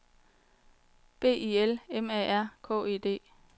B I L M A R K E D